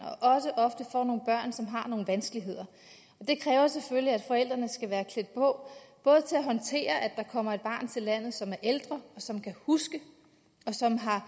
som har nogle vanskeligheder det kræver selvfølgelig at forældrene skal være klædt på til at håndtere at der kommer et barn til landet som er ældre og som kan huske og som har